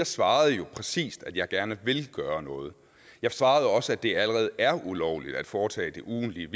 svarede præcist at jeg gerne vil gøre noget jeg svarede også at det allerede er ulovligt at foretage det ugentlige